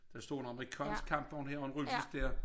Der stod en amerikansk kampvogn her og en russisk dér